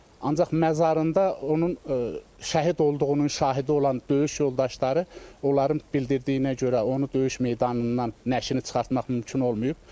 Ancaq məzarında onun şəhid olduğunun şahidi olan döyüş yoldaşları onların bildirdiyinə görə onu döyüş meydanından nəşini çıxartmaq mümkün olmayıb.